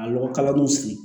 A lɔgɔ kala nu sigi